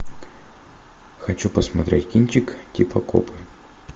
хочу посмотреть кинчик типа копы